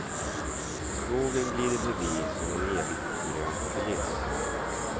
Skogen glider förbi som en evigt grön kuliss.